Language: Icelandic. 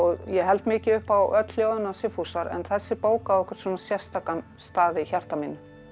ég held mikið upp á öll ljóðin hans Sigfúsar en þessi bók á einhvern sérstakan stað í hjarta mínu